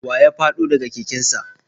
Wa ya fado da ga keken sa?